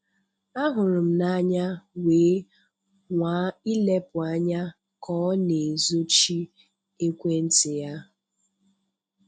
Ahụrụ m ya anya wee nwaa ilepụ anya ka ọ na-ezochi ekwentị ya.